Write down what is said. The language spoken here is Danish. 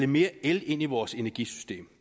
mere el ind i vores energisystem